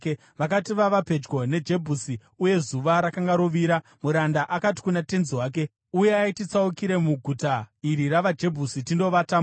Vakati vava pedyo neJebhusi uye zuva rakanga rovira, muranda akati kuna tenzi wake, “Uyai, titsaukire muguta iri ravaJebhusi tindovatamo.”